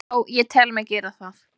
Já, ég tel mig gera það.